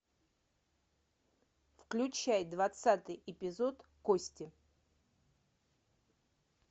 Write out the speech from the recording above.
включай двадцатый эпизод кости